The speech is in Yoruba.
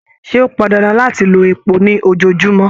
Ṣe o pọn dandan láti lò èpò ní ojoojumọ?